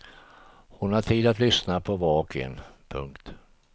Hon hade tid att lyssna på var och en. punkt